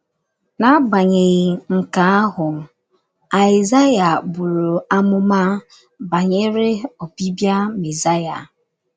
N’agbanyeghị nke ahụ, Aịzaya buru amụma banyere ọbịbịa Mesaya.